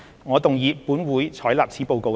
我動議"本會採納此報告"的議案。